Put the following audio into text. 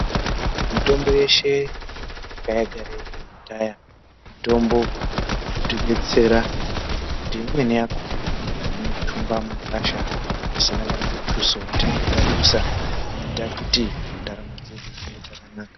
Mitombo yeshe yanga yagara iriyo kudhaya mitombo inotidetsera kuti imweni yakona unoitumba mugwasha pasina kanamutso watinenge tadusa inoita kuti ndaramo dzedu dzinge dzakanaka.